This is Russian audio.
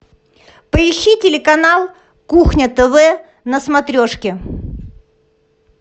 поищи телеканал кухня тв на смотрешке